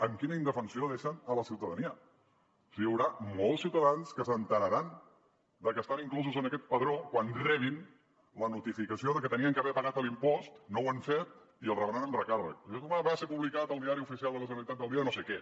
amb quina indefensió deixen la ciutadania hi haurà molts ciutadans que s’assabentaran que estan inclosos en aquest padró quan rebin la notificació de que haurien d’haver pagat l’impost no ho han fet i el rebran amb recàrrec va ser publicat al diari oficial de la generalitat del dia no sé què